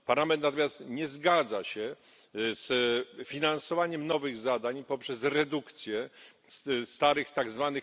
Parlament natomiast nie zgadza się z finansowaniem nowych zadań poprzez redukcję starych, tzw.